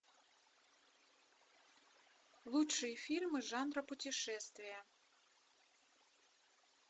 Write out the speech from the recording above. лучшие фильмы жанра путешествия